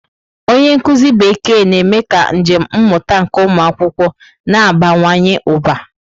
Onye nkuzi Bekee na-eme ka njem mmụta nke ụmụ akwụkwọ na-abawanye ụba.